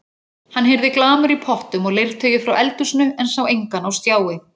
Hann heyrði glamur í pottum og leirtaui frá eldhúsinu en sá engan á stjái.